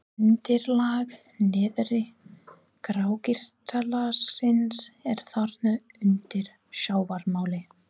Undirlag neðra grágrýtislagsins er þarna undir sjávarmáli.